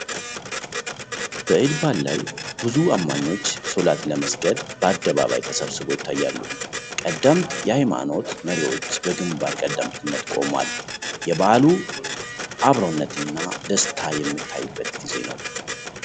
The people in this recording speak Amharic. በኢድ በዓል ላይ ብዙ አማኞች ሶላት ለመስገድ በአደባባይ ተሰብስበው ይታያሉ። ቀደምት የሀይማኖት መሪዎች በግንባር ቀደምትነት ቆመዋል። የበዓሉ አብሮነትና ደስታ የሚታይበት ጊዜ ነው።